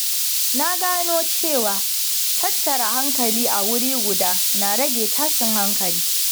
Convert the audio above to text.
Na gano cewa tattara hankali a wuri guda na rage tashin hankali.